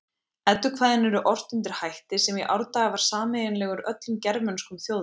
Eddukvæðin eru ort undir hætti sem í árdaga var sameiginlegur öllum germönskum þjóðum.